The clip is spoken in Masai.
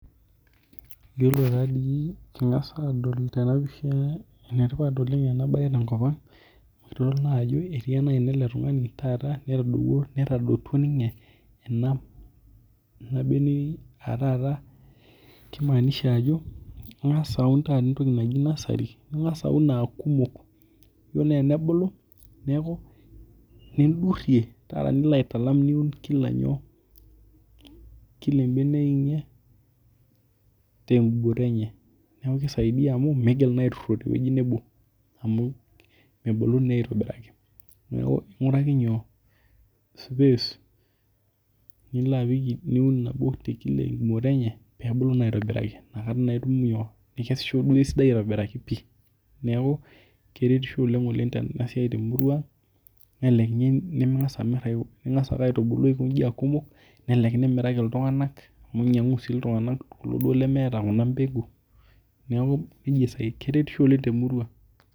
Yiolo taadoi ena siai nadolita tena pisha naa enetipat oleng' ena siai tenkop ang' idol naa ajo etii ena aina ele tung'ani taata netubulu netaduotua ninye ena beneyioi aa taata keimaanisha ajo Inga's aun entoki naji nursery naa eton aa kumok. Iyiolo tenebulu nidurie nilo aitalam kila ebeneyio enye tegumoto enye. Neeku kisaidia amuu meetoki naa aitururo teweji nebo mebulu naa aitobiraki. Neeku inguraki nyoo? space nilo apik nabo te gumoto enye pee ebulu naa aitobiraki inakataa naa itum nyoo? Ikesisho esidai aitobiraki pii neeku keretisho oleng' oleng' ena siai te murua nelelek ninye mingas amir ingas ake aitubuku aiko ijin aaa kumok nelelek imiraki iltung'ana amu inyangu sii iltung'ana amu meeta kuna mpeku neeku kisidai keretisho oleng' te murua.